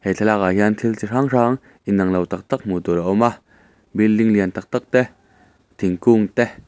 he thlalâkah hian thil chi hrang hrang inang lo tak tak hmuh tûr a awm a building lian tak tak te thingkûng te.